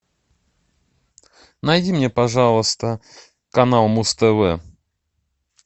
найди мне пожалуйста канал муз тв